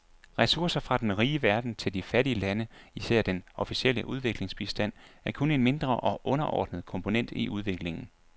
Ressourcer fra den rige verden til de fattige lande, især den officielle udviklingshjælp, er kun en mindre og underordnet komponent i udviklingen.